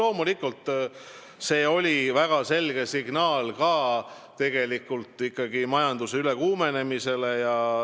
Loomulikult, see oli väga selge signaal, mis viitab majanduse ülekuumenemisele.